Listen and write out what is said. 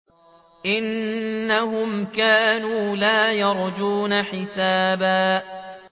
إِنَّهُمْ كَانُوا لَا يَرْجُونَ حِسَابًا